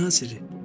Nə naziri?